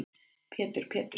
Pétur Péturs